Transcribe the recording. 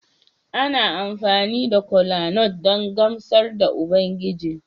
Ana amfani da kolanut don gamsar da Ubangiji